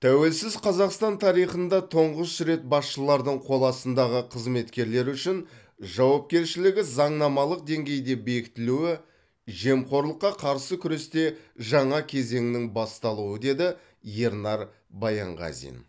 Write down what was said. тәуелсіз қазақстан тарихында тұңғыш рет басшылардың қол астындағы қызметкерлері үшін жауапкершілігі заңнамалық деңгейде бекітілуі жемқорлыққа қарсы күресте жаңа кезеңнің басталуы деді ернар баянғазин